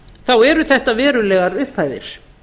þá eru þetta verulegar upphæðir